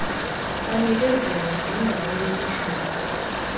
anikezela ngendawo yokuhlala